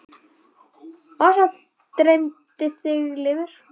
Og svo dreymir þig lifur!